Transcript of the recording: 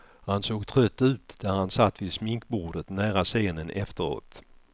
Han såg trött ut där han satt vid sminkbordet nära scenen efteråt.